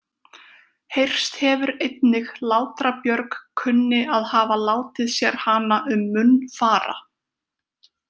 Heyrst hefur einnig Látra-Björg kunni að hafa látið sér hana um munn fara.